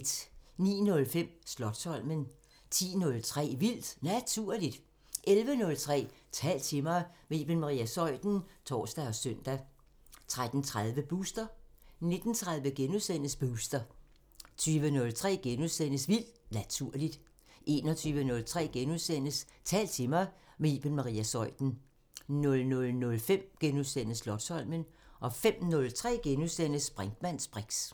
09:05: Slotsholmen 10:03: Vildt Naturligt 11:03: Tal til mig – med Iben Maria Zeuthen (tor og søn) 13:30: Booster 19:30: Booster * 20:03: Vildt Naturligt * 21:03: Tal til mig – med Iben Maria Zeuthen * 00:05: Slotsholmen * 05:03: Brinkmanns briks *